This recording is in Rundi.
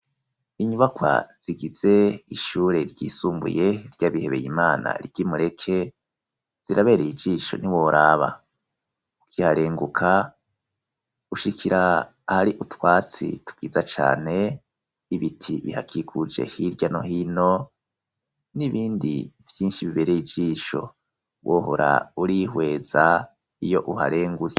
inyubakwa zigize ishure ryisumbuye ry'abihebeye imana ry'imureke zirabereye ijisho ni woraba ukiharenguka ushikira ahari utwatsi twiza cane n,ibiti bihakikuje hirya no hino n'ibindi byinshi bibereye ijisho wohora urihweza iyo uharengutse.